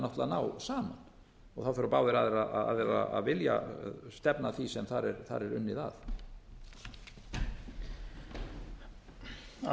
náttúrlega að ná saman það þurfa báðir aðilar að vilja stefna að því sem þar er unnið að